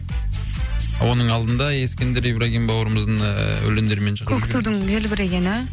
оның алдында ескендір ибрагим бауырымыздың ыыы өлеңдерімен шығып жүргем көк тудың желбірегені